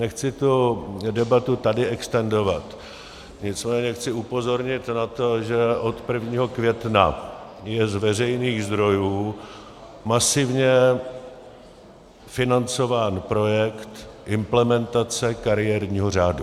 Nechci tu debatu tady extendovat, nicméně chci upozornit na to, že od 1. května je z veřejných zdrojů masivně financován projekt implementace kariérního řádu.